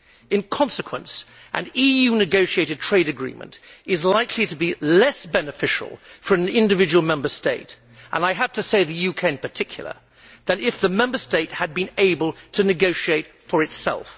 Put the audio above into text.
In consequence, an EU negotiated trade agreement is likely to be less beneficial for an individual Member State and, I have to say, the UK in particular than if the Member State had been able to negotiate for itself.